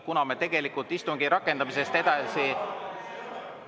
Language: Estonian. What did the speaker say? Kuna me tegelikult istungi rakendamisest edasi …